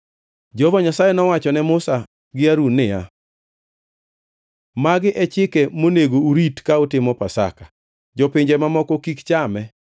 Jehova Nyasaye nowacho ne Musa gi Harun niya, “Magi e chike monego urit ka utimo Pasaka. “Jopinje mamoko kik chame.